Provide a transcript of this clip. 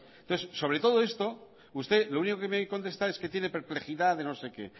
entonces sobre todo esto usted lo único que me contesta es que tiene perplejidad de no sé qué